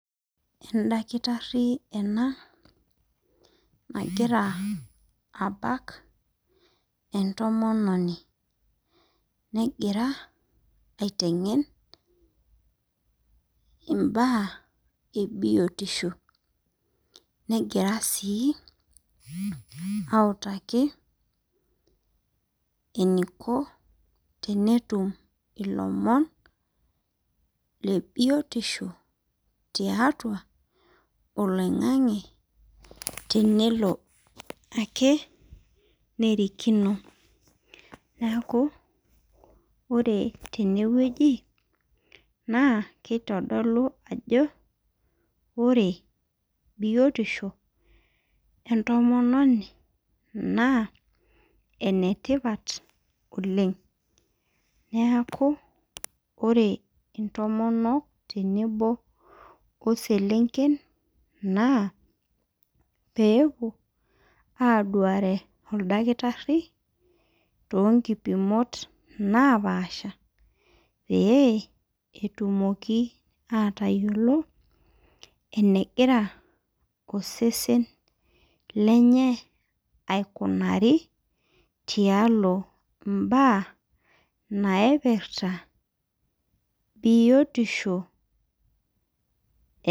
Endakitarri ena nagira abak entomononi negira aiteng'en imbaa ebiotisho negira sii autaki eniko tenetum ilomon le biotisho tiatua oloing'ang'e tenelo ake nerikino neeku ore tenewueji naa keitodolu ajo ore biotisho entomononi naa enetipat oleng neeku ore intomonok tenebo oselenken naa peepuo aduare oldakitarri tonkipimot napaasha pee etumoki atayiolo enegira osesen lenye aikunari tialo imbaa naipirta biotisho.